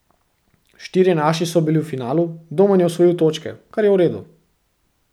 Štirje naši so bili v finalu, Domen je osvojil točke, kar je v redu.